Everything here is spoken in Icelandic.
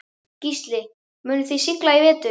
Gísli: Munuð þið sigla í vetur?